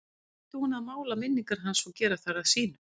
Hvað átti hún með að mála minningar hans og gera þær að sínum?